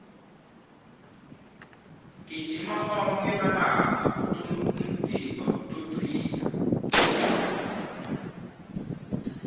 gijima onkhe malanga umtimba utocina